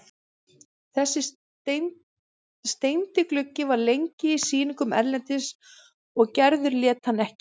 Þessi steindi gluggi var lengi á sýningum erlendis og Gerður lét hann ekki.